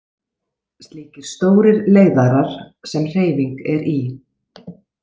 Slíkir stórir leiðarar sem hreyfing er í.